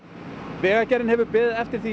vegagerðin hefur beðið eftir því